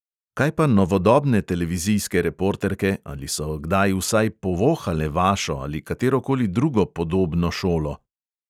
Kaj pa novodobne televizijske reporterke, ali so kdaj vsaj povohale vašo ali katero koli drugo podobno šolo?